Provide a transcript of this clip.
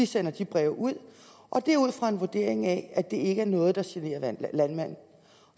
sender de breve ud og det er ud fra en vurdering af at det ikke er noget der generer landmanden